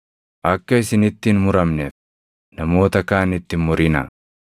“Akka isinitti hin muramneef namoota kaanitti hin murinaa.